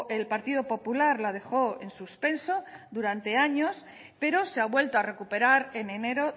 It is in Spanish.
el partido popular la dejó en suspenso durante años pero se ha vuelto a recuperar en enero